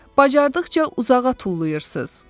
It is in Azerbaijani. Bacardıqca uzağa tullayırsız.